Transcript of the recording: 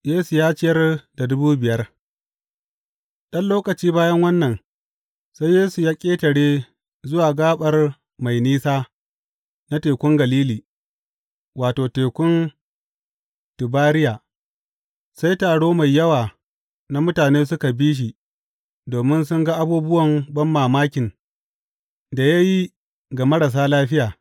Yesu ya ciyar da dubu biyar Ɗan lokaci bayan wannan, sai Yesu ya ƙetare zuwa gaɓar mai nesa na Tekun Galili wato, Tekun Tibariya, sai taro mai yawa na mutane suka bi shi domin sun ga abubuwan banmamakin da ya yi ga marasa lafiya.